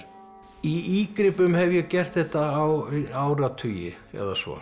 í hef ég gert þetta á áratugi eða svo